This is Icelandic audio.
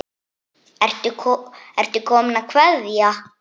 Ertu kominn að kveðja?